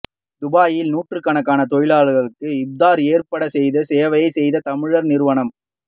துபாயில் நூற்றுக்கணக்கான தொழிலாளர்களுக்கு இப்தார் ஏற்பாடு செய்து சேவை செய்த தமிழர் நிறுவனம்